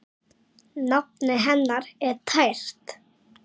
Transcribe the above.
Nafnið hennar er tært.